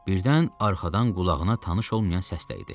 Birdən arxadan qulağına tanış olmayan səs dəydi.